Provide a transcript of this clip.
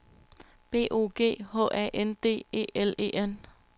B O G H A N D E L E N